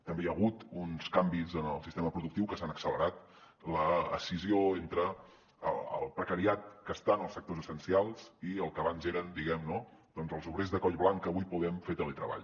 també hi ha hagut uns canvis en el sistema productiu que s’han accelerat l’escissió entre el precariat que està en els sectors essencials i el que abans eren diguem ne no doncs els obrers de coll blanc que avui podem fer teletreball